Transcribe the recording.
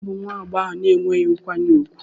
Ònye bụ nwa agbọghọ ahụ na-enweghị nkwanye ùgwù?